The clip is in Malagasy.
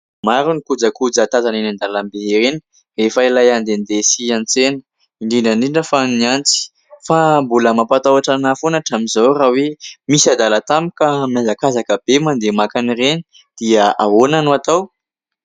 Maro ny kojakoja tazana eny andalambe eny rehefa ilay handehandeha sy hiantsena, indrindra indrindra fa ny antsy. Fa mbola mampatahotra ahy foana hatramin'izao raha hoe misy adala tampoka mihazakazaka be mandeha maka an'ireny dia ahoana no atao?